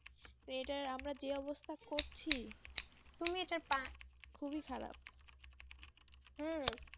তো এটার আমরা যে অবস্থা করছি খুবই খারাপ,